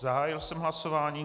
Zahájil jsem hlasování.